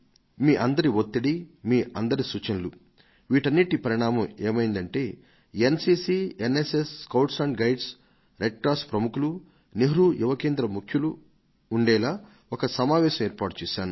మీ అందరి ఒత్తిడి మీ అందరి సూచనలు వీటన్నిటి పరిణామం ఏమైందంటే N C C N S S Bharat scouts and guides red cross ప్రముఖులు నెహ్రూ యువ కేంద్ర ముఖ్యులు ఉండేలా ఒక సమావేశాన్ని ఏర్పాటు చేశాను